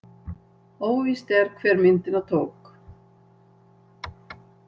Óvíst er, hver myndina tók.